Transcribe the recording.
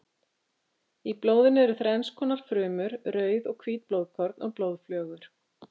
Í blóðinu eru þrenns konar frumur: rauð og hvít blóðkorn og blóðflögur.